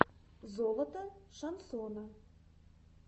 золото шансона